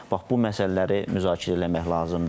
Bax bu məsələləri müzakirə eləmək lazımdır.